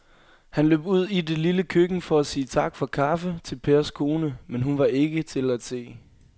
Han løb ud i det lille køkken for at sige tak for kaffe til Pers kone, men hun var ikke til at se.